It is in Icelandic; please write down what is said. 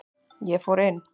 Ég fór inn.